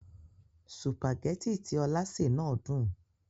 Sùpàgẹ́tì tí Ọlá sè náà dùn.